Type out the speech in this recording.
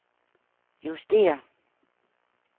justér